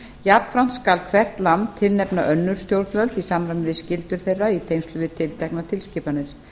jafnframt skal hvert land tilnefna önnur stjórnvöld í samræmi við skyldur þeirra í tengslum við tilteknar tilskipanir